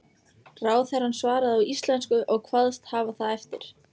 Ráðherrann svaraði á íslensku og kvaðst hafa það eftir